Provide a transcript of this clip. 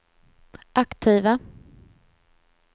aktiva